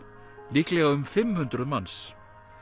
líklega um fimm hundruð manns